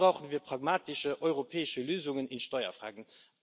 Hier brauchen wir pragmatische europäische Lösungen in Steuerfragen.